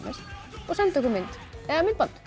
og senda okkur mynd eða myndband